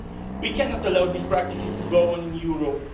We cannot allow these practices to go on in Europe.